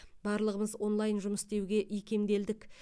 барлығымыз онлайн жұмыс істеуге икемделдік